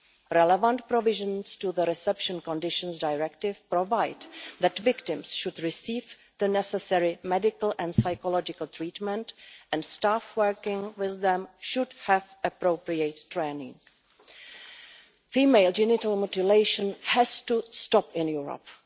Relevant provisions of the Reception Conditions Directive stipulate that victims should receive the necessary medical and psychological treatment, and staff working with them should have appropriate training. Female genital mutilation has to stop in Europe.